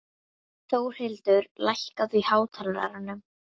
Þórlindur, lækkaðu í hátalaranum.